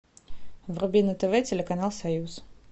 вруби на тв телеканал союз